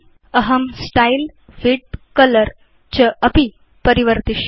अहं style width colour चापि परिवर्तिष्ये